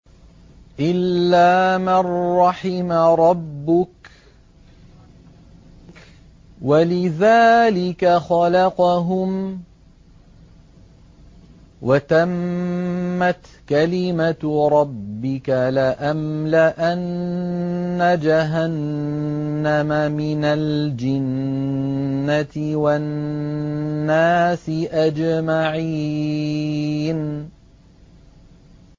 إِلَّا مَن رَّحِمَ رَبُّكَ ۚ وَلِذَٰلِكَ خَلَقَهُمْ ۗ وَتَمَّتْ كَلِمَةُ رَبِّكَ لَأَمْلَأَنَّ جَهَنَّمَ مِنَ الْجِنَّةِ وَالنَّاسِ أَجْمَعِينَ